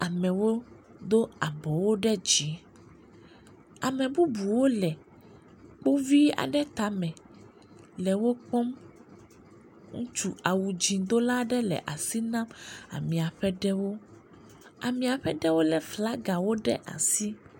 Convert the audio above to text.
Amewo do abɔwo ɖe dzi ame bubuwo le wo vi aɖe tame le wo kpɔm. Ŋutsu awudzidola aɖe le asi nam amea ƒe ɖewo. Amea ƒe ɖewo le flagawo ɖe asi.